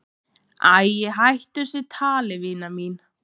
"""Æ, hættu þessu tali, vina mín."""